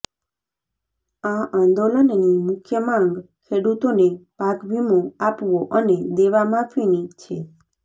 આ આંદોલનની મુખ્ય માંગ ખેડૂતોને પાકવીમો આપવો અને દેવામાફીની છે